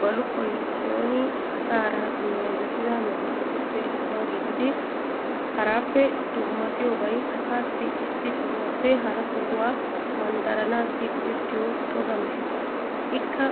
Baluqoy sooni asaara meezettida medoosatuppe issuwa gididi haraappe dummatiyobay asaassi issi sohuwaappe hara sohuwaa manddaranaassi go'ettiyo toga mehe. Ikka